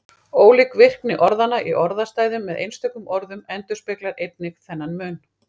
Ólík virkni orðanna í orðastæðum með einstökum orðum endurspeglar einnig þennan mun.